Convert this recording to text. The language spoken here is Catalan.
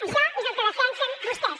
això és el que defensen vostès